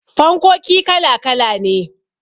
fankoki kala kala ne